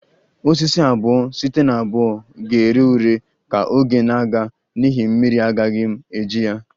Osisi abuo site na abuo ga-ere ure ka oge na-aga n'ihi mmiri agaghị m eji ya